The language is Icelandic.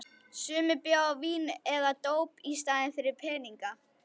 Sumir bjóða vín eða dóp í staðinn fyrir peninga.